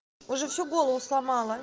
уже всю голову сломала